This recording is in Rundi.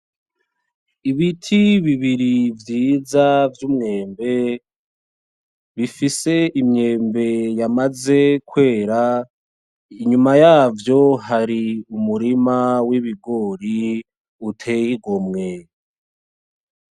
Ibiti bibiri vyiza vy'umwembe bifise imyembe yamaze kwera, inyuma yavyo hari umurima w'ibigori uteye igomwe.